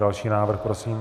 Další návrh prosím.